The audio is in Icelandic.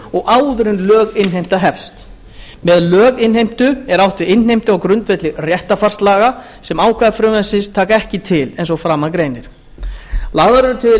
og áður en löginnheimta hefst með löginnheimtu er átt við innheimtu á grundvelli réttarfarslaga sem ákvæði frumvarpsins taka ekki til eins og að framan greinir lagðar eru til